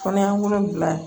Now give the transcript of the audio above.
Kɔnɔya wolonwula